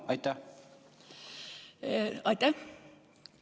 Aitäh!